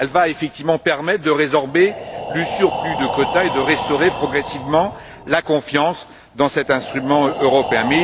Elle va effectivement permettre de résorber le surplus de quotas et de restaurer progressivement la confiance dans cet instrument européen.